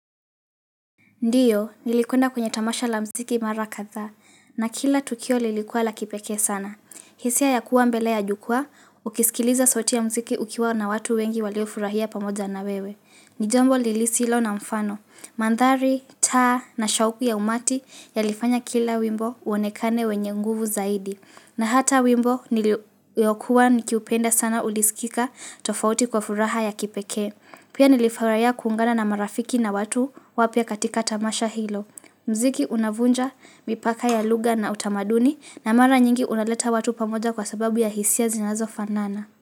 Ndiyo, nilikwenda kwenye tamasha la muziki mara kadhaa, na kila tukio lilikuwa la kipekee sana. Hisia ya kuwa mbele ya jukwaa, ukisikiliza sauti ya muziki ukiwa na watu wengi waliofurahia pamoja na wewe. Ni jambo lisilo na mfano, mandhari, taa na shauku ya umati yalifanya kila wimbo uonekane wenye nguvu zaidi. Na hata wimbo niliokuwa nikiupenda sana ulisikika tofauti kwa furaha ya kipekee. Pia nilifurahia kuungana na marafiki na watu wapya katika tamasha hilo. Muziki unavunja, mipaka ya lugha na utamaduni na mara nyingi unaleta watu pamoja kwa sababu ya hisia zinazofanana.